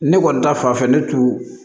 Ne kɔni ta fan fɛ ne tu